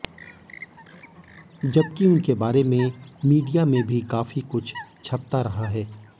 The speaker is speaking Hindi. जबकि उनके बारे में मीडिया में भी काफी कुछ छपता रहा है